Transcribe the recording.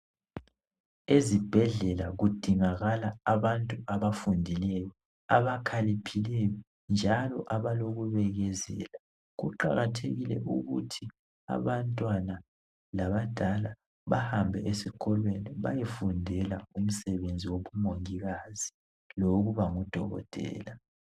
Ezibhedlela kudingakala abantu abafundileyo abakhaliphileyo njalo abalobunene sibili, kuqakathekeile ukuthi abaantwana labadala bahambe esikolweni bayefundela umsebenzi wobumongikazi lowokuba ngudokotela.